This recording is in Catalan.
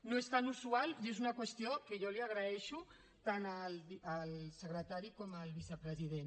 no és tan usual i és una qüestió que jo li agraeixo tant al secretari com al vicepresident